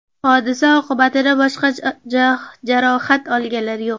Hodisa oqibatida boshqa jarohat olganlar yo‘q.